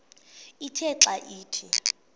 ithe xa ithi